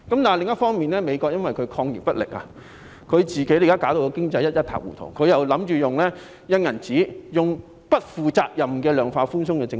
另一方面，美國因為抗疫不力，現時經濟一塌糊塗，特朗普又打算印鈔、推出不負責任的量化寬鬆政策。